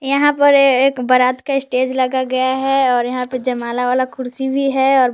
यहां पर एक बारात का स्टेज लगा गया है और यहां पर जयमाला वाला कुर्सी भी है और--